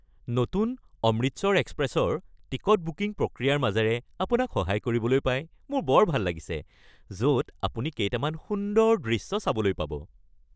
নতুন 'অমৃতসৰ এক্সপ্ৰেছ’-ৰ ticket booking প্ৰক্ৰিয়াৰ মাজেৰে আপোনাক সহায় কৰিবলৈ পাই মোৰ বৰ ভাল লাগিছে, য’ত আপুনি কেইটামান সুন্দৰ দৃশ্য চাবলৈ পাব।